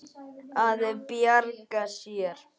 Að bjarga sér.